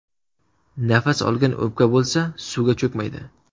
Nafas olgan o‘pka bo‘lsa suvga cho‘kmaydi.